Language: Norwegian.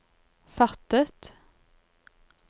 fattet